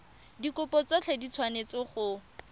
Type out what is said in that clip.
dikopo tsotlhe di tshwanetse go